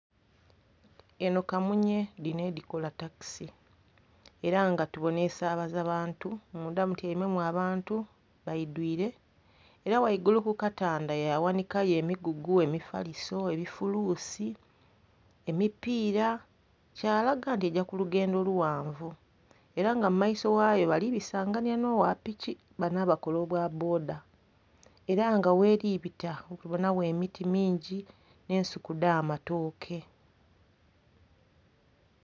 Eno kamunye, dino edikola takisi era nga tubona esaabaza bantu. Munda mutyaimemu abantu baidwire era waigulu ku katanda ya ghanika yo emigugu, emifaliso, ebifuluusi, emipiira kyalaga nti egya ku lugendo lughanvu. Era nga mu maiso ghayo bali bisanganhya n'owa piki bano abakola obwa bboda, era nga weli bita tubonawo emiti mingi ne nsuku dh'amatooke